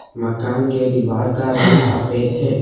मकान के दीवार का रंग सफेद है।